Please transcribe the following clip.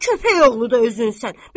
Belə köpək oğludu özünsən.